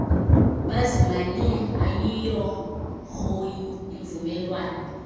bazimanye ayiyihoyi imvumelwano